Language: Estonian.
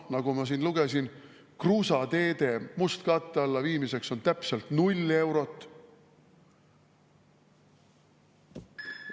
Nagu ma siin lugesin, kruusateede mustkatte alla viimiseks on täpselt 0 eurot.